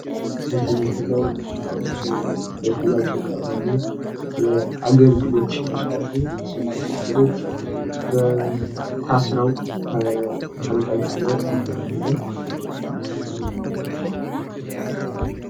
በዚህ ምስል ላይ የምናየው ለሽያጭ የቀረቡ አገልግሎት ይመስላሉ። እነዚህም አገልግሎት ታስረው ተንጠልጥለው እናያለን።